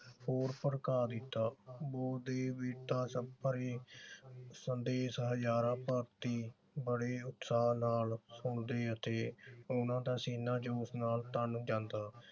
ਹੋਰ ਭੜਕਾ ਦਿੱਤਾ ਸਭ ਪਰੇ ਸੰਦੇਸ਼ ਹਜਾਰਾਂ ਭਾਰਤੀ ਬੜੇ ਉਤਸ਼ਹ ਨਾਲ ਸੁਣਦੇ ਅਤੇ ਉਨ੍ਹਾਂ ਦਾ ਸੀਨਾ ਜੋ ਉਸ ਨਾਲ ਤਨ ਜਾਂਦਾ।